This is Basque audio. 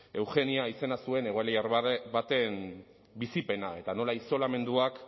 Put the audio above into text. eugenia izena zuen egoiliar baten bizipena eta nola isolamenduak